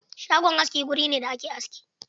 Shagon aski wuri ne da ake aski.